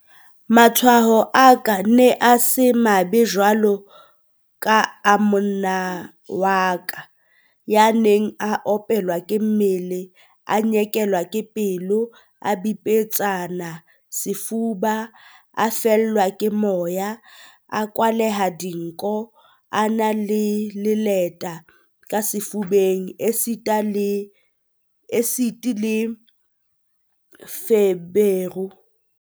Matshwao a ka a ne a se mabe jwaloka a monna wa ka, ya neng a opelwa ke mmele, a nyekelwa ke pelo, a bipetsane sefuba, a fellwa ke moya, a kwalehile dinko, a na le leleta ka sefubeng esita le feberu.